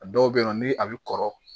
A dɔw bɛ yen nɔ ni a bɛ kɔrɔ